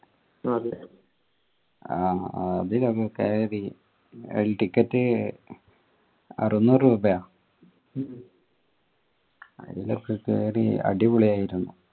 കയറി ticket അറുന്നൂർ രൂപയ ആയിലൊക്കെ കേറി അടിപൊളി ആയിരുന്നു